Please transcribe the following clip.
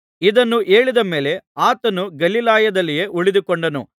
ಇದನ್ನು ಹೇಳಿದ ಮೇಲೆ ಆತನು ಗಲಿಲಾಯದಲ್ಲಿಯೇ ಉಳಿದುಕೊಂಡನು